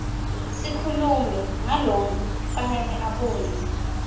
sikhulumi ngalokufanele abuye